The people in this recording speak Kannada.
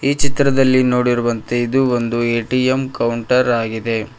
ಈ ಚಿತ್ರದಲ್ಲಿ ನೋಡಿರುವಂತೆ ಇದು ಒಂದು ಎ_ಟಿ_ಎಂ ಕೌಂಟರ್ ಆಗಿದೆ.